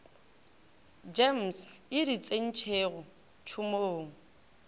gems e di tsentšego tšhomong